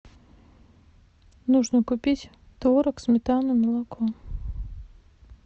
нужно купить творог сметану молоко